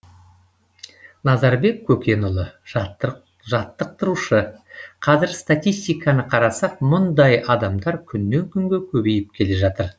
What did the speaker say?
назарбек көкенұлы жаттықтырушы қазір статистиканы қарасақ мұндай адамдар күннен күнге көбейіп келе жатыр